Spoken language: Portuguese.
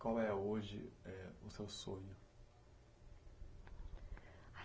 Qual é hoje é o seu sonho?